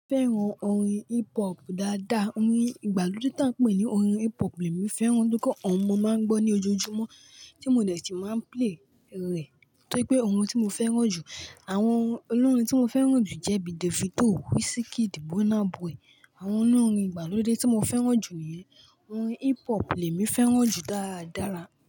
Fẹ́ràn orin hip hop dáadáa, orin ìgbàlódé tí a ń pè ní orin hip hop lèmí fẹ́ràn nitori pe oun mọ máa ń gbọ́ ní ojoojúmọ́ tí mo dẹ̀ tí mà ń play rẹ̀ tóripé ohun tí mo fẹ́ràn jù. Àwọn olórin tí mo fẹ́ràn jù jẹ́ bíi Davido, Wizkid, Burna Boy. Àwọn náà orin ìgbàlódé tí mo fẹ́ràn jù yẹn. Orin hip hop lèmí fẹ́ràn jù dáadáára.